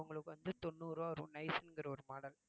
உங்களுக்கு வந்து தொண்ணூறு ரூவா வரும் nice ங்கிற ஒரு model